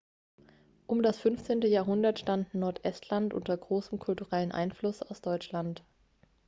um das 15. jahrhundert stand nordestland unter großem kulturellen einfluss aus deutschland